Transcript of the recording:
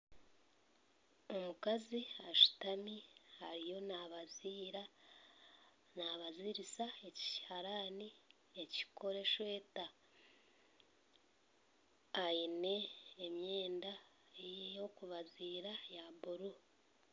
Omukazi ashutami ariyo nabaziira nabazirisa ekihaarani ekirikukora esweeta aine emyenda eyokubaziira eya buru